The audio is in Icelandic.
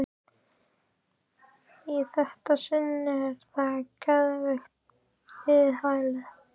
Í þetta sinn er það geðveikrahælið.